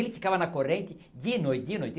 E ele ficava na corrente dia e noite, dia e noite.